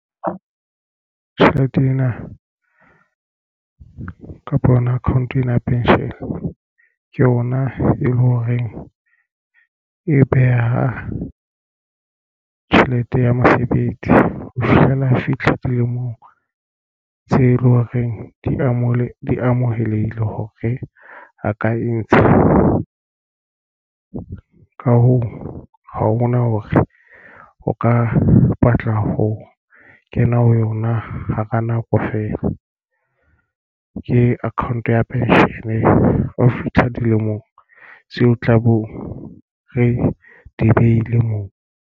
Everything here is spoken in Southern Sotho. Tjhelete ena kapa yona account ena pension ke yona e leng hore e beha tjhelete ya mosebetsi ho fihlela fitlha dilemong tse leng hore di amohelehile hore a ka e ntshe. Ka hoo, ha ho na hore o ka batla ho kena ho yona hara nako feela. Ke account ya pension o fitlha dilemong tseo tla boo re di behile moo.